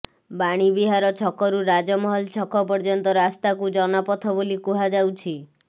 ବାଣୀବିହାର ଛକରୁ ରାଜମହଲ ଛକ ପର୍ଯ୍ୟନ୍ତ ରାସ୍ତାକୁ ଜନପଥ ବୋଲି କୁହାଯାଉଛି